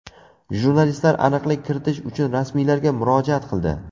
Jurnalistlar aniqlik kiritish uchun rasmiylarga murojaat qildi.